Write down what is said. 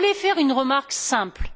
Je voulais faire une remarque simple.